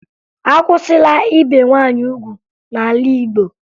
Akwụsịla ibe nwaanyị ugwu n'ala Igbo